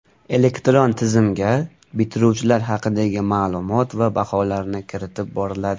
Elektron tizimga bitiruvchilar haqidagi ma’lumot va baholarni kiritib boriladi.